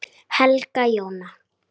Helga Jóna.